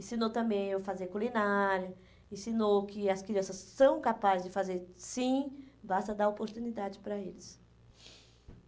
Ensinou também eu fazer culinária, ensinou que as crianças são capazes de fazer sim, basta dar oportunidade para eles.